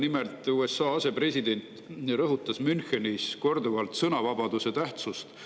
Nimelt, USA asepresident rõhutas Münchenis korduvalt sõnavabaduse tähtsust.